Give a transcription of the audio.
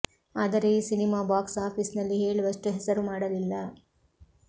ಆದರೆ ಈ cinema box office ನಲ್ಲಿ ಹೇಳುವಷ್ಟು ಹೆಸರು ಮಾಡಲಿಲ್ಲ